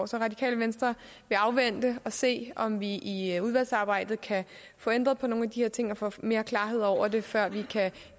så radikale venstre vil afvente og se om vi i udvalgsarbejdet kan få ændret på nogle af de her ting og få mere klarhed over det før vi kan